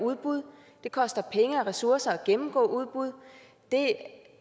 udbud det koster penge og ressourcer at gennemgå udbud det